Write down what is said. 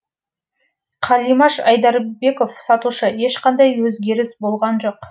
қалимаш айдарбеков сатушы ешқандай өзгеріс болған жоқ